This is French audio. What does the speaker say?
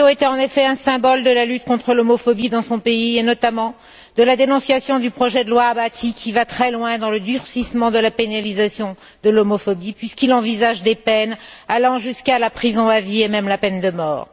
Kato était en effet un symbole de la lutte contre l'homophobie dans son pays, et notamment de la dénonciation du projet de loi Bahati qui va très loin dans le durcissement de la pénalisation de l'homosexualité puisqu'il envisage des peines allant jusqu'à la prison à vie et même la peine de mort.